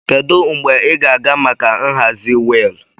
Kedu mgbe ị ga-aga maka nhazi wheel?